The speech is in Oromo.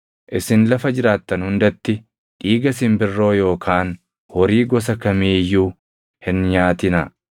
Isin lafa jiraattan hundatti dhiiga simbirroo yookaan horii gosa kamii iyyuu hin nyaatinaa.